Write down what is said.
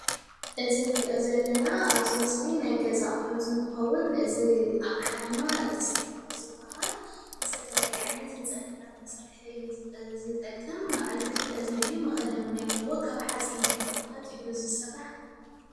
እዚ ንሪኦ ዘለና ኣብዚ ምስሊ ናይ ገዛ ኣቑሑት እንትኸውን እዚ ኣቕሓ ድማ ድስቲ እዩ ዝባሃል፡፡ ዝተፈላለየ ዓይነት ንፀብሒታት መስርሒ እዩ ዝጠቅም። በዓል ክልተ እዝኒ እዩ። መኽደን ውነይ ኣለዎ። ካብ ሓፂን ብምቕጥቃጥ እዩ ዝስራሕ፡፡